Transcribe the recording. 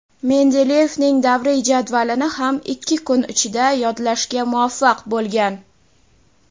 Mendeleyevning davriy jadvalini ham ikki kun ichida yodlashga muvaffaq bo‘lgan.